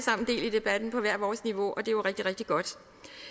debatten på hvert vores niveau og det er jo rigtig rigtig godt